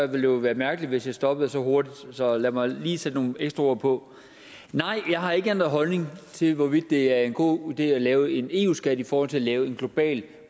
det jo være mærkeligt hvis jeg stoppede så hurtigt så lad mig lige sætte nogle ekstra ord på nej jeg har ikke ændret holdning til hvorvidt det er en god idé at lave en eu skat i forhold til at lave en global